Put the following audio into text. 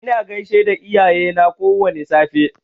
Ina gaishe da iyayena kowwani safe.